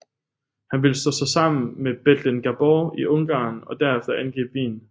Han ville slå sig sammen med Bethlen Gabor i Ungarn og derefter angribe Wien